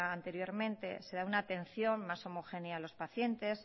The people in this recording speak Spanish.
anteriormente se da una atención mas homogénea a los pacientes